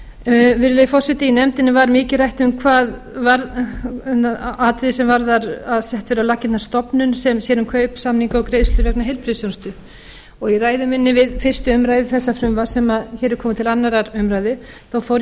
virðulegi forseti í nefndinni var mikið rætt um atriði sem varðar að sett yrði á laggirnar stofnun sem sér um kaupsamninga og greiðslur vegna heilbrigðisþjónustu í ræðu minni við fyrstu umræðu þessa frumvarps sem hér er komið til annarrar umræðu fór ég